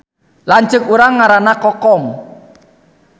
Lanceuk urang ngaranna Kokom